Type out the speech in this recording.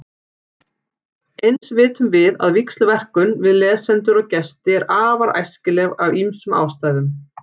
Eins vitum við að víxlverkun við lesendur og gesti er afar æskileg af ýmsum ástæðum.